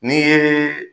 N'i ye